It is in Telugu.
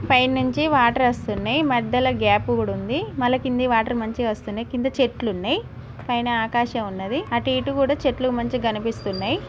పైన నుంచి వాటర్ వస్తున్నాయి. మధ్యలో గ్యాపు కూడా ఉంది. మళ్ళా కిందకి వాటర్ మంచిగా వస్తున్నాయి. కింద చెట్లున్నాయి. పైన ఆకాశం ఉన్నదీ . అటు ఇటు కూడా చెట్లు మంచిగా కనిపిస్తా ఉన్నాయి.